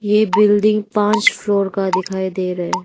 ये बिल्डिंग पाच फ्लोर का दिखाई दे रहा है।